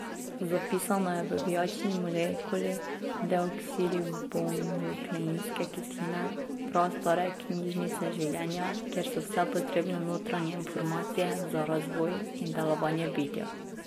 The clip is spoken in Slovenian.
Zapisano je v vijačni molekuli deoksiribonukleinske kisline, prastare knjižnice življenja, kjer so vse potrebne notranje informacije za razvoj in delovanje bitja.